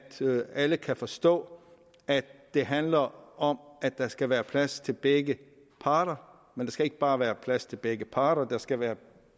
alle kan forstå at det handler om at der skal være plads til begge parter skal ikke bare være plads til begge parter der skal være